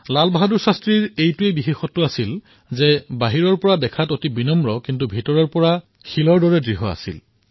লাল বাহাদুৰ শাস্ত্ৰীজীৰ এই বিশেষত্ব আছিল যে বাহিৰত তেওঁ অত্যাধিক বিনয়ী হলেও ভিতৰৰ পৰা অতিশয় দৃঢ় আছিল